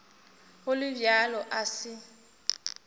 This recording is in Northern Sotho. go le bjalo a se